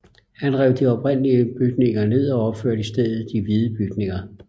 Han rev de oprindelige bygninger ned og opførte i stedet de hvide bygninger